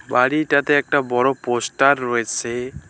বাড়িটাতে একটা বড় পোস্টার রয়েসে।